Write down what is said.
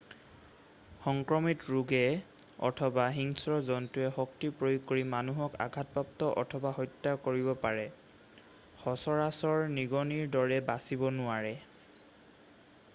সংক্ৰমিত ৰোগে অথবা হিংস্ৰ জন্তুৱে শক্তি প্ৰয়োগ কৰি মানুহক আঘাতপ্ৰাপ্ত অথবা হত্যা কৰিব পাৰে সচৰাচৰ নিগনিৰ দৰে বাচিব নোৱাৰে